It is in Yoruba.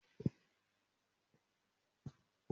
Mo ló Àgbo ibà náà